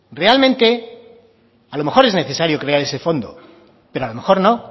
realmente a lo mejor es necesario crear ese fondo pero a lo mejor no